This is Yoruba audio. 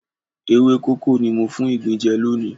Ewé kókó ni mo fún ìgbín jẹ lónìí.